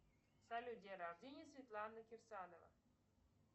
салют день рождения светланы кирсанова